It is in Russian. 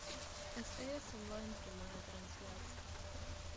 стс онлайн прямая трансляция